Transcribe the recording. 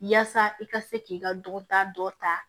Yaasa i ka se k'i ka dɔnta dɔ ta